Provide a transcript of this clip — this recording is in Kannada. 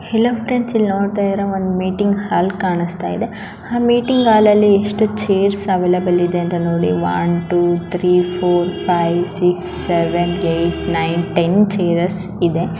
ಹಲೋ ಫ್ರೆಂಡ್ಸ್ ಇಲ್ಲಿ ನೋಡ್ತಾ ಇದ್ದೀರಾ ಒಂದ ಮೀಟಿಂಗ್ ಹಾಲ್ ಕಾಣಿಸ್ತಾ ಇದೆ ಮೀಟಿಂಗ್ ಹಾಲ್ ಅಲ್ಲಿ ಎಷ್ಟು ಚೈರ್ಸ್ ಅವೈಲೇಬಲ್ ಇದೆ ಅಂತಒನ್ಚೇ two three four five six seven eight nine ten .